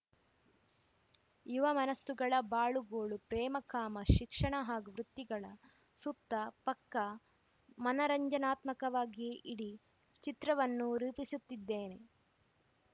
ಯುವ ಮನಸ್ಸುಗಳ ಬಾಳು ಗೋಳು ಪ್ರೇಮ ಕಾಮ ಶಿಕ್ಷಣ ಹಾಗೂ ವೃತ್ತಿಗಳ ಸುತ್ತ ಪಕ್ಕಾ ಮನರಂಜನಾತ್ಮಕವಾಗಿಯೇ ಇಡೀ ಚಿತ್ರವನ್ನು ರೂಪಿಸುತ್ತಿದ್ದೇನೆ